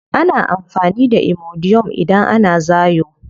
Ana amfani da imodium idan ana zaayo.